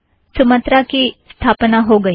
Sumatra की स्थापना हो गई